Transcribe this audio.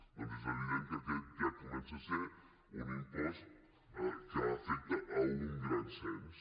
doncs és evident que aquest ja comença a ser un impost que afecta a un gran cens